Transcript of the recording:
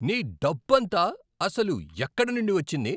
నీ డబ్బంతా అసలు ఎక్కడి నుండి వచ్చింది?